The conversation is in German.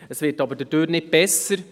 Dadurch wird es aber nicht besser.